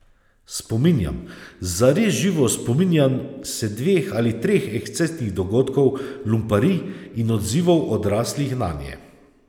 Spominjam, zares živo spominjam, se dveh ali treh ekscesnih dogodkov, lumparij in odzivov odraslih nanje...